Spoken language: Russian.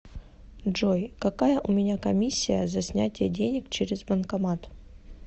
джой какая у меня комиссия за снятие денег через банкомат